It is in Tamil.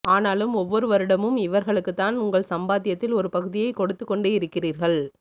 ஆனாலும் ஒவ்வொரு வருடமும் இவர்களுக்கு தான் உங்கள் சம்பாத்தியத்தில் ஒரு பகுதியை கொடுத்துக்கொண்டு இருக்கிறீர்கள்